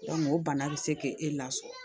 o bana bɛ se k'e lasɔrɔ